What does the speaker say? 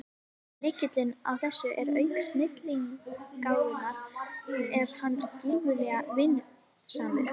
Lykillinn að þessu er að auk snilligáfunnar er hann gífurlega vinnusamur.